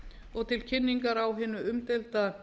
og til kynningar á hinu umdeilda